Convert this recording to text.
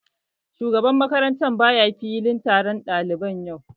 Shugaban makaranta baya filin taron ɗalibai yau